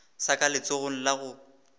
sa ka letsogong la go